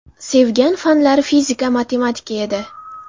Sevgan fanlari fizika, matematika edi.